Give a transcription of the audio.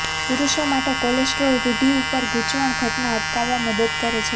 પુરુષો માટે કોલેસ્ટ્રોલ રૂઢિ ઉપર ગૂંચવણ ઘટના અટકાવવા મદદ કરે છે